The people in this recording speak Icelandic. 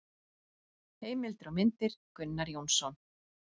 Heimildir og myndir: Gunnar Jónsson.